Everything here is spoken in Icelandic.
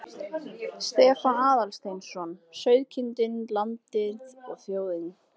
Stefán Aðalsteinsson: Sauðkindin, landið og þjóðin.